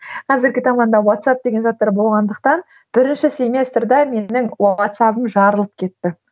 қазіргі уатсап деген заттар болғандықтан бірінші семестрде менің уатсабым жарылып кетті